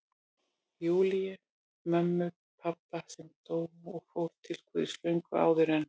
Júlíu, mömmu pabba, sem dó og fór til Guðs löngu áður en